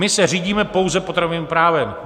My se řídíme pouze potravinovým právem.